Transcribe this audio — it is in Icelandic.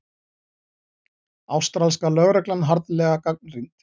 Ástralska lögreglan harðlega gagnrýnd